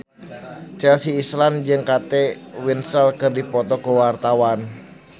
Chelsea Islan jeung Kate Winslet keur dipoto ku wartawan